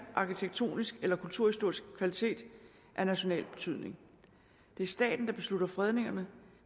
arkitektonisk eller kulturhistorisk kvalitet af national betydning det er staten der beslutter fredningerne